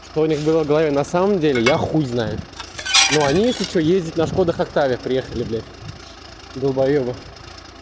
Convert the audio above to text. что у нас было в голове на самом деле я хуй знаю но они если что ездят на шкода октавиях приехали блядь долбоёбы